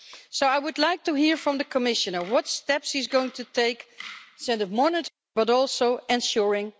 So I would like to hear from the Commissioner what steps he's going to take instead of monitoring but also ensuring...